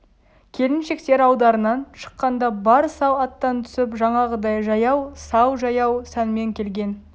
келіншектер алдарынан шыққанда бар сал аттан түсп жаңағыдай жаяу сал жаяу сәнмен келген